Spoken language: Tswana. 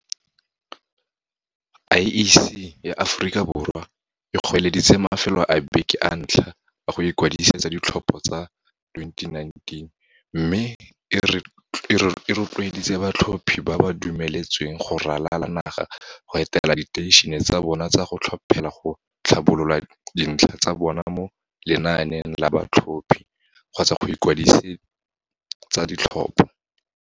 IEC ya Aforika Borwa e goeleditse mafelo a beke a ntlha a go ikwadisetsa ditlhopho tsa 2019 mme e ro tloeditse batlhophi ba ba dumeletsweng go ralala naga go etela diteišene tsa bona tsa go tlhophela go tlhabolola dintlha tsa bona mo lenaaneng la ba tlhophi kgotsa go ikwadise tsa ditlhopho.